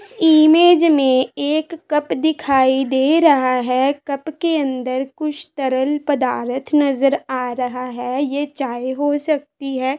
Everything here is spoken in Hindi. इमेज एक में कप दिखाई दे रहा है कप के अन्दर कुछ तरल पदारथ नज़र आ रहा है यह चाय हो सकती है।